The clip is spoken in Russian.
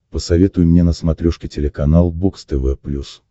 посоветуй мне на смотрешке телеканал бокс тв плюс